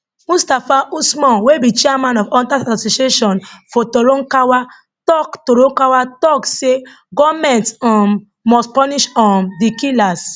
mustapha usman wey be chairman of hunters association for torankawa tok torankawa tok say goment um must punish um di killers